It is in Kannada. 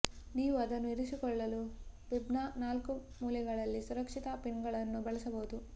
ನೀವು ಅದನ್ನು ಇರಿಸಿಕೊಳ್ಳಲು ಬಿಬ್ನ ನಾಲ್ಕು ಮೂಲೆಗಳಲ್ಲಿ ಸುರಕ್ಷತಾ ಪಿನ್ಗಳನ್ನು ಬಳಸಬಹುದು